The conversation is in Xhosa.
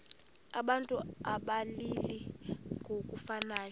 abantu abalili ngokufanayo